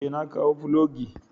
Ee, na kawo filogi.